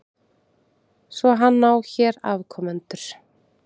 Svo hann á hér afkomendur?